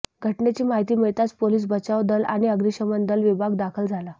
घटनेची माहिती मिळताच पोलीस बचाव दल आणि अग्निशमन दल विभाग दाखल झाला